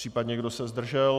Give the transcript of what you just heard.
Případně kdo se zdržel?